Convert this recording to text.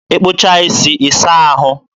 ịkpụchaa isi, ị saa ahụ.